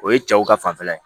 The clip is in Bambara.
O ye cɛw ka fanfɛla ye